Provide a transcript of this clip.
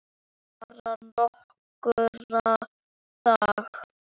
Bara nokkra daga.